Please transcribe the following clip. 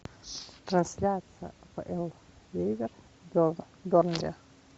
трансляция апл ливер бернли